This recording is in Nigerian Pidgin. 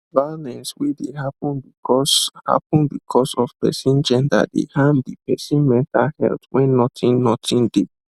violence wey dey happen because happen because of person gender dey harm de person mental health wen nothing nothing de